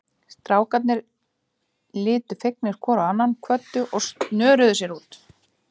Strákarnir litu fegnir hvor á annan, kvöddu og snöruðu sér út.